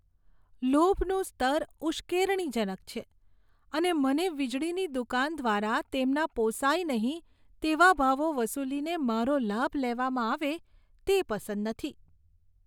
લોભનું સ્તર ઉશ્કેરણીજનક છે, અને મને વીજળીની દુકાન દ્વારા તેમના પોસાય નહીં તેવા ભાવો વસૂલીને મારો લાભ લેવામાં આવે તે પસંદ નથી.